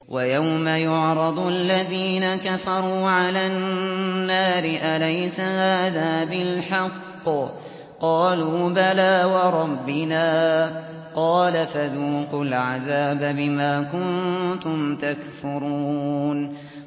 وَيَوْمَ يُعْرَضُ الَّذِينَ كَفَرُوا عَلَى النَّارِ أَلَيْسَ هَٰذَا بِالْحَقِّ ۖ قَالُوا بَلَىٰ وَرَبِّنَا ۚ قَالَ فَذُوقُوا الْعَذَابَ بِمَا كُنتُمْ تَكْفُرُونَ